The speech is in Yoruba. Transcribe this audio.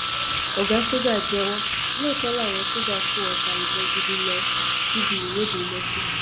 ọgá ṣọjà jẹwọ lóòótọ làwọn sójà kó ọta ìbọn gidi lọ síbi ìwọde lẹkì